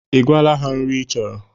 Ị gwaala ha nri ị chọrọ